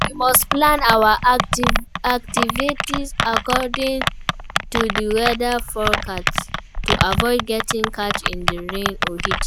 We must plan our activities according to di weather forecast to aviod getting caught in di rain or heat.